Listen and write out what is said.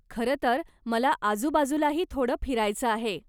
खरंतर मला आजुबाजूलाही थोडं फिरायचं आहे.